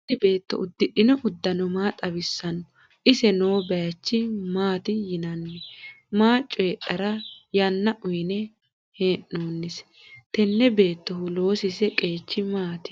Tini beto udidhino udano maa xawisanote? iseno noo bayicho maat yinani? maa choyidhara yana uyine henose? tene betohu loosise qechi maat?